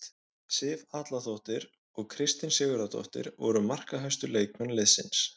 Sif Atladóttir og Kristín Sigurðardóttir voru markahæstu leikmenn liðsins.